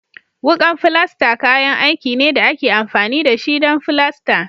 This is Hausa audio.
Wukan filasta kayan aiki ne da ake amfani da shi don filasta